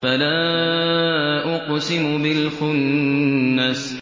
فَلَا أُقْسِمُ بِالْخُنَّسِ